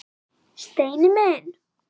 Steini minn!